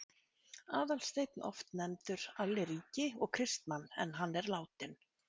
Aðalsteinn, oft nefndur Alli ríki, og Kristmann en hann er látinn.